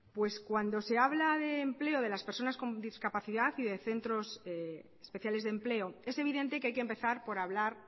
cuando se habla de empleo de las personas con discapacidad y de centros especiales de empleo es evidente que hay que empezar por hablar